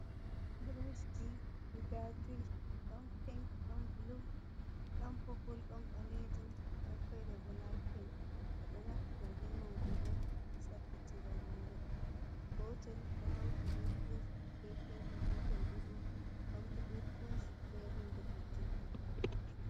Buroshji guda juyí, dón pinc, dón bulú, dón popúl, don balejum don fere bo layit pinc. Bé dóh naftira be majum on bé saffitira hóre. Gotel do hauti bé buroush bépinck gotel bo do hauti be burosh bé húnde fecchugó.